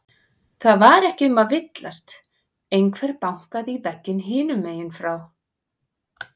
Það var ekki um að villast, einhver bankaði í vegginn hinum megin frá.